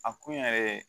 A kun yɛrɛ